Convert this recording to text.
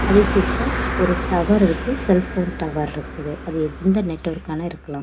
அதுகிட்ட ஒரு டவர் இருக்கு செல்போன் டவர் இருக்குது அது எந்த நெட்வொர்க்கான இருக்கலாம்.